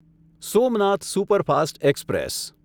Somnath superfast express